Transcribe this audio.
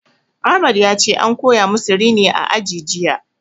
Ahmad yace an koya musu rini a aji jiya